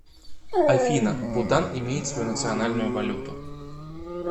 афина бутан имеет свою национальную валюту